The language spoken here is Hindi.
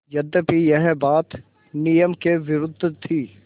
यद्यपि यह बात नियम के विरुद्ध थी